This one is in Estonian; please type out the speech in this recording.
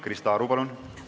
Krista Aru, palun!